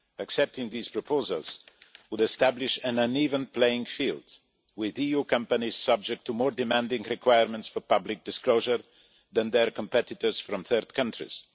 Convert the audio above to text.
Accepting these proposals would establish an uneven playing field, with EU companies subject to more demanding requirements for public disclosure than their competitors from third countries.